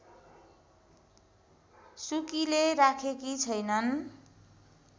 सुकीले राखेकी छैनन्